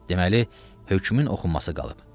Deməli, hökmün oxunması qalıb.